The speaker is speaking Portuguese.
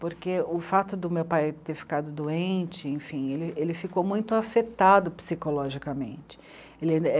Porque o fato de o meu pai ter ficado doente, enfim, ele, ele ficou muito afetado psicologicamente.